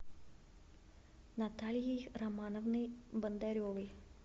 натальей романовной бондаревой